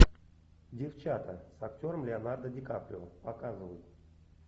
девчата с актером леонардо ди каприо показывай